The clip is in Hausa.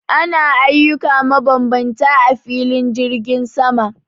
Ana ayyuka mabambanta a filin jirgin sama